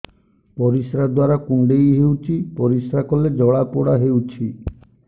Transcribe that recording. ପରିଶ୍ରା ଦ୍ୱାର କୁଣ୍ଡେଇ ହେଉଚି ପରିଶ୍ରା କଲେ ଜଳାପୋଡା ହେଉଛି